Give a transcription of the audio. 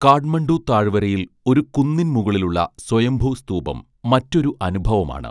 കാഠ്മണ്ഡു താഴ്‌വരയിൽ ഒരു കുന്നിൻമുകളിലുള്ള സ്വയംഭൂ സ്തൂപം മറ്റൊരു അനുഭവമാണ്